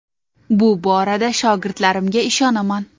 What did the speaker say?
Bu borada shogirdlarimga ishonaman.